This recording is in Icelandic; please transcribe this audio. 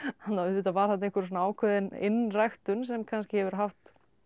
að auðvitað var þarna einhver svona ákveðin innræktun sem kannski hefur haft